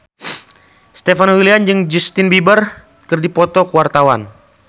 Stefan William jeung Justin Beiber keur dipoto ku wartawan